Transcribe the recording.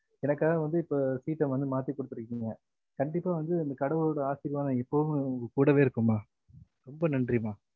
எனக்காக வந்து இப்ப seat ஆஹ் மாத்தி குடுத்துருக்கிங்க கண்டிப்பா வந்து அந்த கடவுளோட ஆசிர்வாதம் எப்போதுமே உங்ககூடையே இருக்கும் மா ரொம்ப நன்றிமா